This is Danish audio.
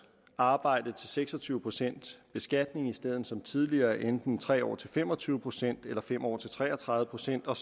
arbejde til seks og tyve procent beskatning i stedet for som tidligere enten tre år til fem og tyve procent eller fem år til tre og tredive procent og